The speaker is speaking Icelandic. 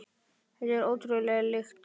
Þetta er ótrúleg lykt.